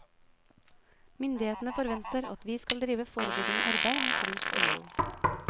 Myndighetene forventer at vi skal drive forebyggende arbeid mot rus og vold.